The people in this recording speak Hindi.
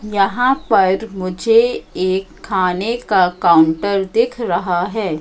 यहां पर मुझे एक खाने का काउंटर दिख रहा है।